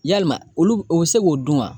Yalima olu u bɛ se k'o dun wa